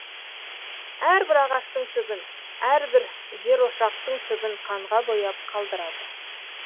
әрбір ағаштың түбін әрбір жерошақтың түбін қанға бояп қалдырады